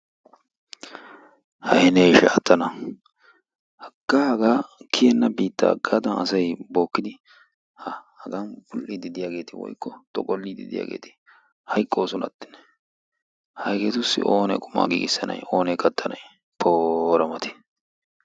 Hayi be ishaa tana haggaa hagaa kiyenna biittaa hagaadan asayi bookkidi ha Hagan bull'iiddi diyageeti woykko xoqolliiddi diyageeti hayqqoosonattennee. Hayi hageetussi oonee qumaa giigissanayi oonee kattanayi poora mati.